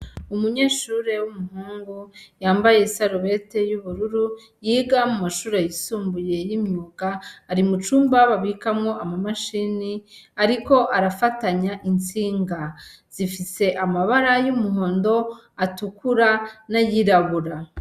umunyeshure w'umuhungu yambaye isarubete y'ubururu, yiga mu mashure yisumbuye y'imyuga ari mu cumba babikamwo ama mashini ariko arafatanya intsinga. Zifise amabara y'umuhondo, atukura n'ayirabura.